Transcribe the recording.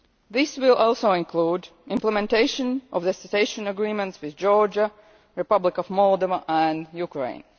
This will also include implementation of the Association Agreements with Georgia, the Republic of Moldova and Ukraine.